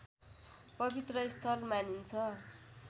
पवित्र स्थल मानिन्छ